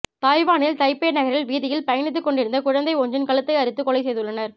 தாய்வானில் தைப்பே நகரில் வீதியில் பயணித்துக் கொண்டிருந்த குழந்தை ஒன்றின் கழுத்தை அறுத்து கொலை செய்துள்ளனர்